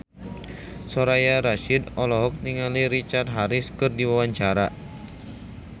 Soraya Rasyid olohok ningali Richard Harris keur diwawancara